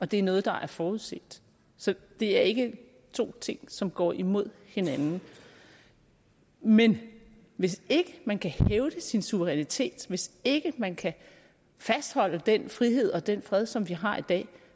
det er noget der er forudset så det er ikke to ting som går imod hinanden men hvis ikke man kan hævde sin suverænitet hvis ikke man kan fastholde den frihed og den fred som vi har i dag